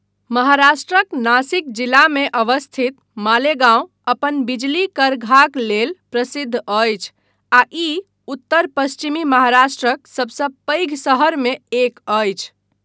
महाराष्ट्रक नासिक जिलामे अवस्थित मालेगांव अपन बिजली करघाक लेल प्रसिद्ध अछि आ ई उत्तर पश्चिमी महाराष्ट्रक सभसँ पैघ शहरमे एक अछि।